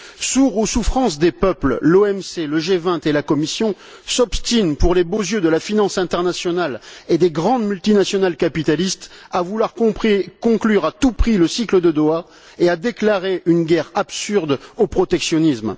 Sourds aux souffrances des peuples, l'OMC, le G20 et la Commission s'obstinent, pour les beaux yeux de la finance internationale et des grandes multinationales capitalistes, à vouloir conclure à tout prix le cycle de Doha et à déclarer une guerre absurde au protectionnisme.